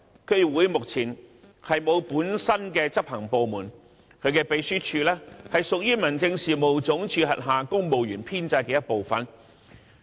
區議會目前沒有本身的執行部門，其秘書處屬於民政事務總署轄下公務員編制的一部分。